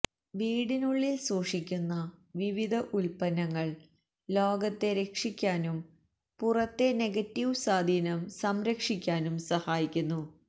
വീടിനുള്ളിൽ സൂക്ഷിക്കുന്ന വിവിധ ഉൽപ്പന്നങ്ങൾ ലോകത്തെ രക്ഷിക്കാനും പുറത്തെ നെഗറ്റീവ് സ്വാധീനം സംരക്ഷിക്കാനും സഹായിക്കുന്നു